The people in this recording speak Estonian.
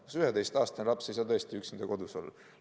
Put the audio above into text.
Kas 11-aastane laps ei saa tõesti üksinda kodus olla?